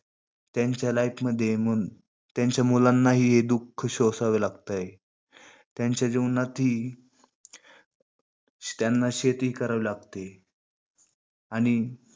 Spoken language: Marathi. त्यांच्या life मध्ये मग त्यांच्या मुलानंही हे दुखः सोसावे लागतेय. त्यांचे जीवनातही त्यांना शेती करावी लागते. आणि